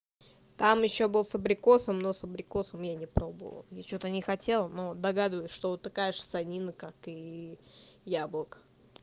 там ещё был с абрикосом но с абрикосом я не пробовала я что-то не хотела ну догадываюсь что вот такая же ссанина как и яблоко